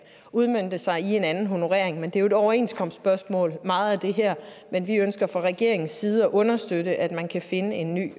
udmønte sig i en anden honorering men det er jo overenskomstspørgsmål men vi ønsker fra regeringens side at understøtte at man kan finde en ny